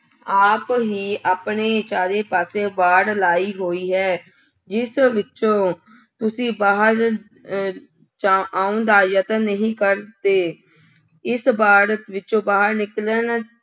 ਆਪ ਹੀ ਆਪਣੇ ਚਾਰੇ ਪਾਸੇ ਵਾੜ ਲਾਈ ਹੋਈ ਹੈ, ਜਿਸ ਵਿੱਚੋਂ ਤੁਸੀਂ ਬਾਹਰ ਅਹ ਜਾ ਆਉਣ ਦਾ ਯਤਨ ਨਹੀਂ ਕਰਦੇ, ਇਸ ਵਾੜ ਵਿੱਚੋਂ ਬਾਹਰ ਨਿਕਲਣ